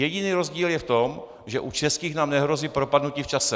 Jediný rozdíl je v tom, že u českých nám nehrozí propadnutí v čase.